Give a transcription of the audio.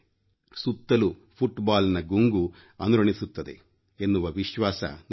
ಸುತ್ತಲೂ ಫುಟ್ಬಾಲ್ನ ಗುಂಗು ಅನುರಣಿಸುತ್ತದೆ ಎನ್ನುವ ವಿಶ್ವಾಸ ನನಗಿದೆ